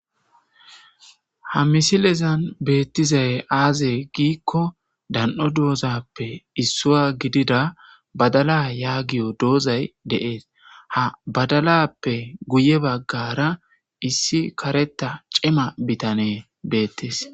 Ha misilezan betizay aaze gikon dan'o dozappe issuwa gidida badala ya giyo dozay betes.ha badalappe guye bagara issi kareta cima bitaney dis.